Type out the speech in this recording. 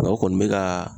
Mɛ o kɔni bɛ ka